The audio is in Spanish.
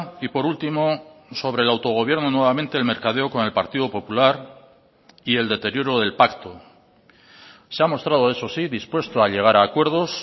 y por último sobre el autogobierno nuevamente el mercadeo con el partido popular y el deterioro del pacto se ha mostrado eso sí dispuesto a llegar a acuerdos